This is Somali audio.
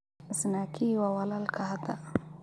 Snaky waa walalka hada.